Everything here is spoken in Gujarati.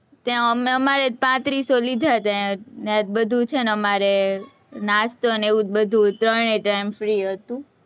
ત્યાં અમે અમારા તો પાંત્રીસો લીધા હતા, ત્યાં તો બધું છે, અમારે નાસ્તો ને એવું બધું ત્રણેય time free હતું.